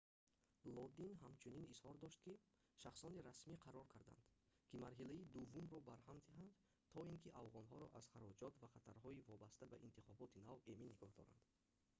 лодин ҳамчунин изҳор дошт ки шахсони расмӣ қарор карданд ки марҳилаи дуввумро барҳам диҳанд то ин ки афғонҳоро аз хароҷот ва хатарҳои вобаста ба интихоботи нав эмин нигоҳ доранд